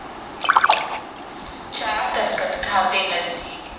ਚਾਰ ਦਰੱਖਤ ਘਰ ਦੇ ਨਜ਼ਦੀਕ